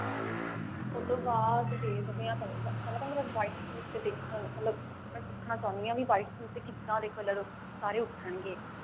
ਉਹਤੋਂ ਬਾਅਦ ਦੇਖਦੇ ਹਾਂ ਫਲਾਂ ਤਾਂ ਮੈਂ white ਸੂਟ ਤੇ ਦੇਖਾਂਗੀ ਮੈਂ ਸਿੱਖਣਾ ਚਾਹੁੰਦੀ ਹਾਂ ਵੀ ਕਿੱਦਾਂ ਦੇ color ਸਾਰੇ ਉੱਠਣ ਗੇ